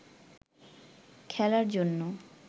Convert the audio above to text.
খেলার জন্য